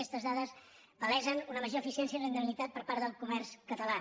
aquestes dades palesen una major eficiència i rendibilitat per part del comerç català